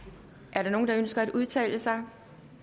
er der nogen der ønsker at udtale sig